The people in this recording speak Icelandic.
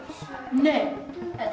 nei er